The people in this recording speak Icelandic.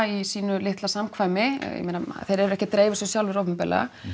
í sínu litla samkvæmi ég meina þeir eru ekki að dreifa þessu sjálfir opinberlega